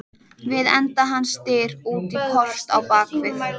Við enda hans dyr út í port á bak við.